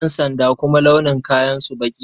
Ƴan sanda kuma launin kayan su baƙi ne